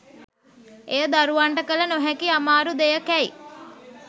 එය දරුවන්ට කළ නොහැකි අමාරු දෙයකැයි